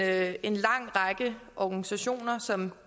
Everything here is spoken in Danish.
at en lang række organisationer som